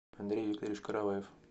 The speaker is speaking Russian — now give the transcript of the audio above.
андрей викторович караваев